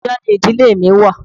Abuja ni ìdílé mi wà.